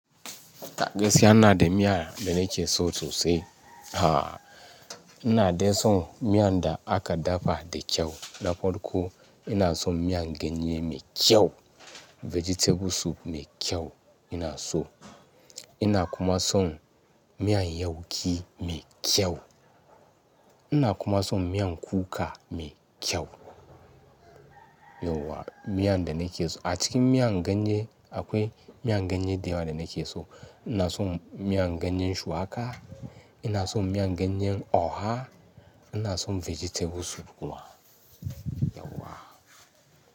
Ta gaskiya ina da miya da nake so sosai. Ha! Ina dai son miyan da aka dafa da kyau, na farko. Ina son miyan ganye mai kyau, vegetable soup mai kyau ina so. Ina kuma son miyan yauki mai kyau. Ina kuma son miyan kuka mai kyau. Yauwa, miyan da nake so a cikin miyan ganye akwai miyan ganye da yawa da nake so. Ina son miyan ganyen shuwaka, ina son miyan ganyen Oha, ina son vegetable soup kuma. Yauwa.